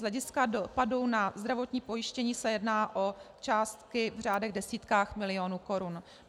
Z hlediska dopadu na zdravotní pojištění se jedná o částky v řádech desítek milionů korun.